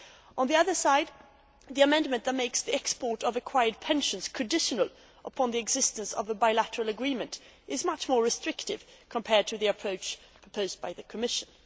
On the other side, the amendment that makes the export of acquired pensions conditional upon the existence of a bilateral agreement is much more restrictive compared to the approach proposed by the Commission.